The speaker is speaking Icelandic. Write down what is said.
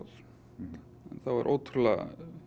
en þá er ótrúlega